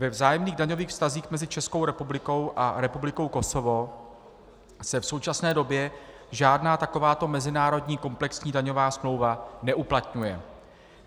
Ve vzájemných daňových vztazích mezi Českou republikou a Republikou Kosovo se v současné době žádná takováto mezinárodní komplexní daňová smlouva neuplatňuje.